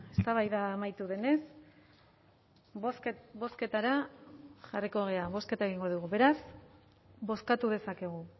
eztabaida amaitu denez bozketara jarriko gara bozketa egingo dugu beraz bozkatu dezakegu